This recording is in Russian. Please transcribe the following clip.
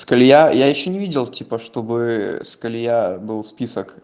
я ещё не видел типа чтобы я был спит